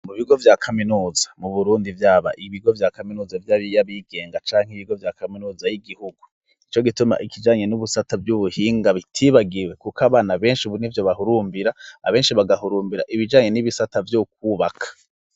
Mu bigo vya kaminuza mu burundi vyaba ibigo vya kaminuza vy'abiya bigenga canke ibigo vya kaminuza y'igihugu i co gituma ikijanye n'ubusata vy'ubuhinga bitibagiwe, kuko abana benshi buni vyo bahurumbira abenshi bagahurumbira ibijanye n'ibisata vyokwubaka.